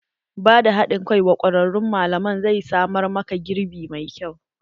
Ba da haɗin kai wa kwararun malaman zai samar ma ka girbi mai kyau.